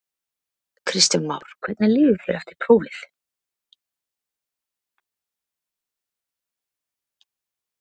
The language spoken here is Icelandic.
Kristján Már: Hvernig líður þér eftir prófið?